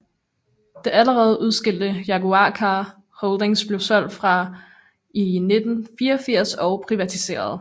Det allerede udskilte Jaguar Car Holdings blev solgt fra i 1984 og privatiseret